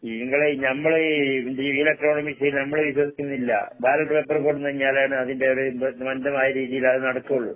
ഇങ്ങളെ ഞമ്മള് ഈ ഇലക്ട്രോണിക് മെഷീനിൽ നമ്മള് വിശ്വസിക്കുന്നില്ല. ബാലറ്റ് പേപ്പര്‍ കൊണ്ടന്ന് കഴിഞ്ഞാലാണ് അതിന്റെയൊരു രീതീലത് നടക്കുള്ളൂ.